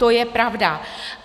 To je pravda.